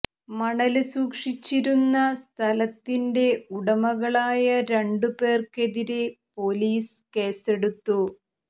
മണല് സൂക്ഷിച്ചിരുന്ന സ്ഥലത്തിന്റെ ഉടമകളായ രണ്ടു പേര്ക്കെതിരെ പൊലീസ് കേസെടുത്തു